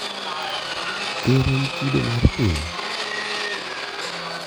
Ker en kido mar piny?